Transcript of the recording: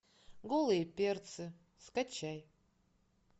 голые перцы скачай